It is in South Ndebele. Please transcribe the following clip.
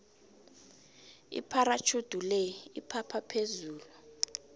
ipharatjhudi le iphapha phezulu